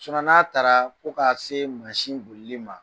n'a taraa ko k'a see mansi bolili ma